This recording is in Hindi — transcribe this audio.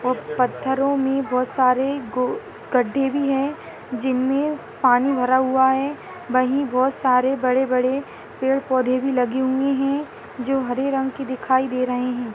और पत्थरों में बहुत सारे गड़ गड्डे भी है जिनमें पानी भरा हुआ है वही बहुत सारे बड़े ब- ड़े पेड़ - पोधे भी लगे हुए है जो हरे रंग के दिखाई दे रहे है।